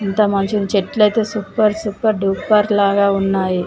ఇంత మంచి చెట్లతో సూపర్ సూపర్ డూపర్ లాగా ఉన్నాయి